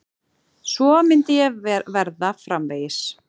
Svo myndi og verða framvegis.